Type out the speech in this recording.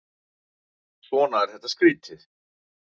Svona er þetta skrýtið.